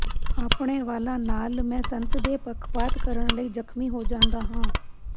ਆਪਣੇ ਵਾਲਾਂ ਨਾਲ ਮੈਂ ਸੰਤ ਦੇ ਪੱਖਪਾਤ ਕਰਨ ਲਈ ਜ਼ਖਮੀ ਹੋ ਜਾਂਦਾ ਹਾਂ